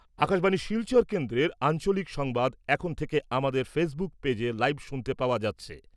আকাশবাণী শিলচর কেন্দ্রের আঞ্চলিক সংবাদ এখন থেকে আমাদের ফেসবুক পেজে লাইভ শুনতে পাওয়া যাচ্ছে।